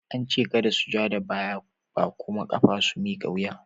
An ce kada su ja da baya ba kuma kafa su miƙa wuya!